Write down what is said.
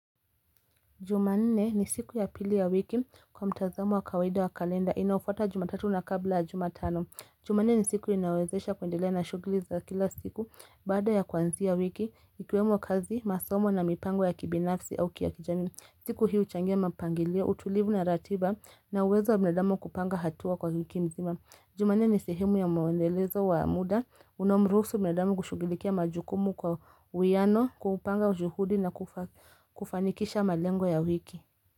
Jumanne ni siku ya pili ya wiki kwa mtazamo wa kawaida wa kalenda. Inayofuata jumatatu na kabla jumatano. Jumanne ni siku inayowezesha kuendelea na shugili za kila siku. Baada ya kuanzi a wiki, ikiwemo kazi, masomo na mipango ya kibinafsi au kia kijamii. Siku hii huchangia mapangilio, utulivu na ratiba na uwezo wa binadamu kupanga hatua kwa wiki mzima. Jumanne ni sehemu ya mwendelezo wa muda, unaomruhusu mwanadamu kushugulikia majukumu kwa uwiano, kuupanga juhudi na kufanikisha malengo ya wiki.